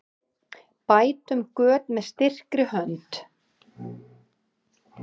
Bætum göt með styrkri hönd.